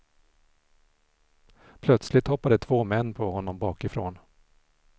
Plötsligt hoppade två män på honom bakifrån.